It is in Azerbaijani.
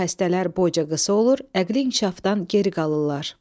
Belə xəstələr boyunca qısa olur, əqli inkişafdan geri qalırlar.